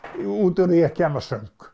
út úr því að kenna söng